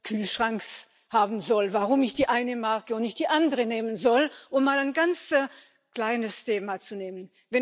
Kühlschranks haben soll, warum ich die eine Marke und nicht die andere nehmen soll, um mal ein ganz kleines Thema zu nehmen.